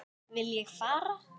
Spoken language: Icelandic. Vil ég fara?